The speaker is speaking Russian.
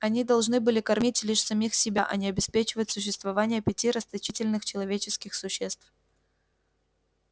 они должны были кормить лишь самих себя а не обеспечивать существование пяти расточительных человеческих существ